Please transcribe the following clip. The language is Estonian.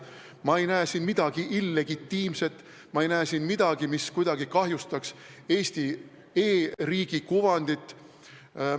Ma ei näe siin midagi illegitiimset, ma ei näe siin midagi, mis kuidagi kahjustaks Eesti e-riigi kuvandit.